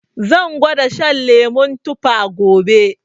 Zan gwada shan lemu tuffa gobe